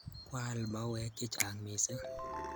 Kwa al mauwek chechang' missing'